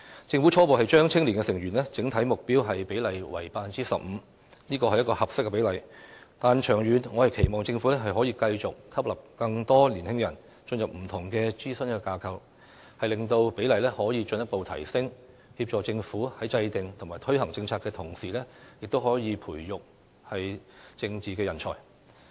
政府初步將青年委員的整體目標比例定為 15%， 這是一個合適的比例，但長遠而言，我期望政府繼續吸納更多年輕人進入不同的諮詢架構，令有關比例進一步提升，協助政府在制訂及推行政策的同時，亦可培育政治人才。